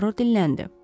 Puaro dinləndi.